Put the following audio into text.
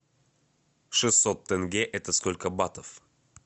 шестьсот тенге это сколько батов